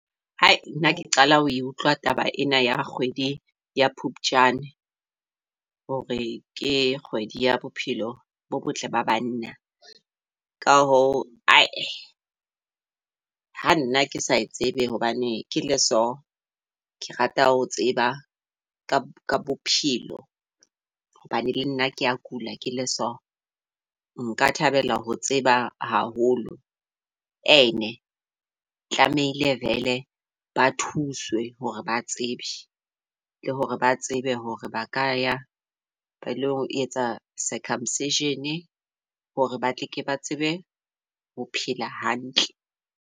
Hai nna ke qala ho e utlwa taba ena ya kgwedi ya Phupjane, hore ke kgwedi ya bophelo bo botle ba banna. Ka ho ae ha nna ke sa e tsebe hobane ke le so ke rata ho tseba ka bophelo hobane le nna kea kula ke le so. Nka thabela ho tseba haholo. E ne tlamehile vele ba thuswe hore ba tsebe, le hore ba tsebe hore ba ka ya ba ilo e etsa circumcision hore ba tle ke ba tsebe ho phela hantle.